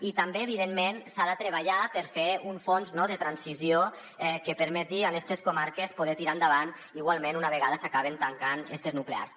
i també evidentment s’ha de treballar per fer un fons de transició que permeti a estes comarques poder tirar endavant igualment una vegada s’acabin tancant estes nuclears